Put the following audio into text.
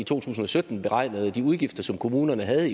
to tusind og sytten beregnede de udgifter som kommunerne havde